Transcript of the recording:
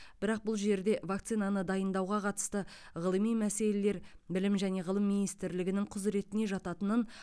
бірақ бұл жерде вакцинаны дайындауға қатысты ғылыми мәселелер білім және ғылым министрлігінің құзыретіне жататынын